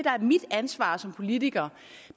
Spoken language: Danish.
er mit ansvar som politiker